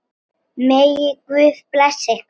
Megi Guð blessa ykkur.